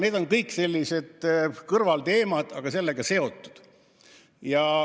Need on kõik on sellised kõrvalteemad, aga eelnõuga seotud.